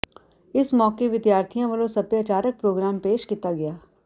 ਇਸ ਮੌਕੇ ਵਿਦਿਆਰਥੀਆਂ ਵੱਲੋਂ ਸਭਿਆਚਾਰਕ ਪ੍ਰਗਰਾਮ ਪੇਸ਼ ਕੀਤਾ ਗਿਆ